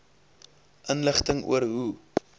inligting oor hoe